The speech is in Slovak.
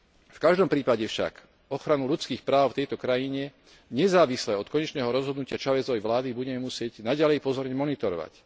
V každom prípade však ochranu ľudských práv v tejto krajine, nezávisle od konečného rozhodnutia Chávezovej vlády, budeme musieť naďalej pozorne monitorovať.